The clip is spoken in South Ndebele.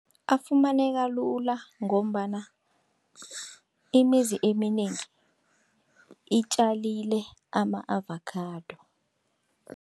Afumaneka lula, ngombana imizi eminengi itjalile ama-avakhado.